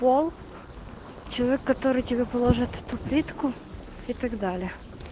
пол человек который тебе положит эту плитку и так далее